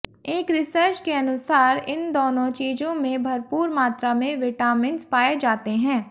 एक रिसर्च के अनुसार इन दोनों चीजों में भरपूर मात्रा में विटामिन्स पाएं जाते है